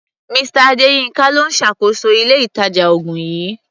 Mr. Adéyínká ló ń ṣàkóso ilé-ìtàjà-oògùn yìí.